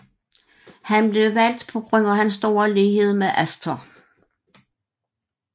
Han blev valgt på grund af hans store lighed med Astor